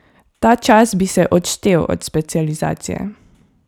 Ta čas bi se odštel od specializacije.